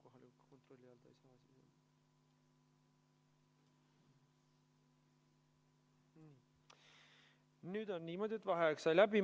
Nüüd on niimoodi, et vaheaeg sai läbi.